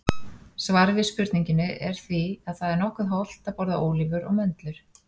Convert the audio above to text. Svarið við spurningunni er því að það er nokkuð hollt að borða ólívur og möndlur.